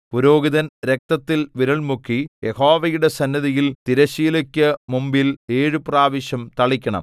പുരോഹിതൻ രക്തത്തിൽ വിരൽ മുക്കി യഹോവയുടെ സന്നിധിയിൽ തിരശ്ശീലയ്ക്കു മുമ്പിൽ ഏഴു പ്രാവശ്യം തളിക്കണം